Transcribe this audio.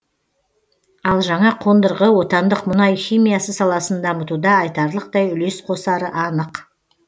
ал жаңа қондырғы отандық мұнай химиясы саласын дамытуда айтарлықтай үлес қосары анық